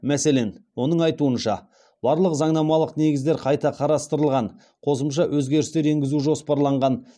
мәселен оның айтуынша барлық заңнамалық негіздер қайта қарастырылған қосымша өзгерістер енгізу жоспарланған